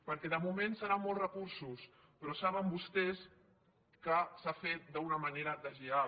perquè de moment seran molts recursos però saben vostès que s’ha fet d’una manera deslleial